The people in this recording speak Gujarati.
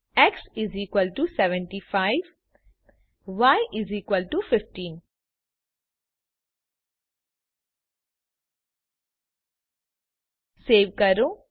x75y 15 સવે કરો